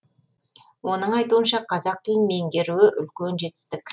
оның айтуынша қазақ тілін меңгеруі үлкен жетістік